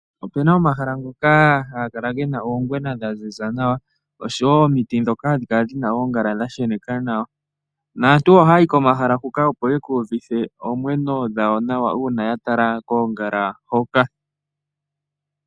Opu na omahala ngoka haga kala gena oongwena dhaziza nawa, nomiti ndhoka dhina oongala dha sheneka nawa. Aantu oha yayi komahala huka opo ye ku uvithe oomwenyo dhawo nawa uuna ya tala koongala hoka.